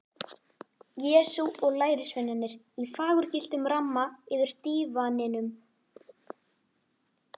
Jesú og lærisveinarnir í fagurgylltum ramma yfir dívaninum.